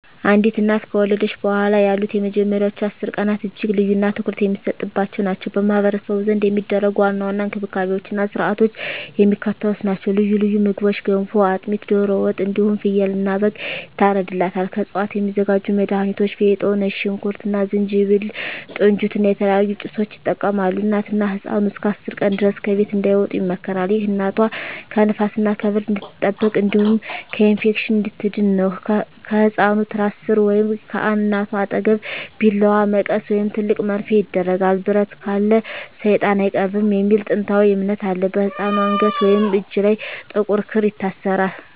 አንዲት እናት ከወለደች በኋላ ያሉት የመጀመሪያዎቹ 10 ቀናት እጅግ ልዩና ትኩረት የሚሰጥባቸው ናቸው። በማኅበረሰቡ ዘንድ የሚደረጉ ዋና ዋና እንክብካቤዎችና ሥርዓቶች የሚከተሉት ናቸው፦ ልዩ ልዩ ምግቦች ገንፎ፣ አጥሚት፣ ዶሮ ወጥ እንዲሁም ፍየልና በግ ይታርድላታል። ከእፅዋት የሚዘጋጁ መድሀኒቶች ፌጦ፣ ነጭ ሽንኩርት እና ዝንጅብል፣ ጥንጅት እና የተለያዩ ጭሶችን ይጠቀማሉ። እናትና ህፃኑ እስከ 10 ቀን ድረስ ከቤት እንዳይወጡ ይመከራል። ይህ እናቷ ከንፋስና ከብርድ እንድትጠበቅ እንዲሁም ከኢንፌክሽን እንድትድን ነው። ከህፃኑ ትራስ ሥር ወይም ከእናቷ አጠገብ ቢላዋ፣ መቀስ ወይም ትልቅ መርፌ ይደረጋል። "ብረት ካለ ሰይጣን አይቀርብም" የሚል ጥንታዊ እምነት አለ። በህፃኑ አንገት ወይም እጅ ላይ ጥቁር ክር ይታሰራል።